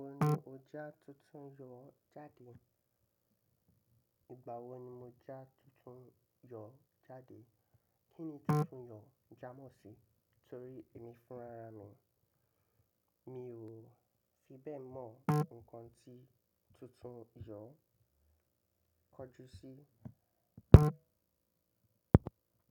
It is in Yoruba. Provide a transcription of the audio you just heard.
Igba wo ni o ja tuntun jọ jade? Igba wo ni mo ja tuntun yọ jade. Kíni tuntun yọ jamọ́ sí? Torí èmi fún rara mi, mi ò fi bẹ́ẹ̀ mọ̀ nǹkan tí tuntun yọ kọjú sí.